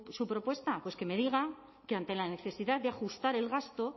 su propuesta que me diga que ante la necesidad de ajustar el gasto